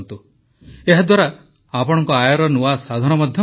ଏହାଦ୍ୱାରା ଆପଣଙ୍କ ଆୟର ନୂଆ ସାଧନ ମଧ୍ୟ ଖୋଲିପାରିବ